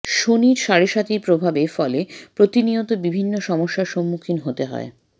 শনির সাড়ে সাতির প্রভাবের ফলে প্রতিনিয়ত বিভিন্ন সমস্যার সম্মুখিণ হতে হয়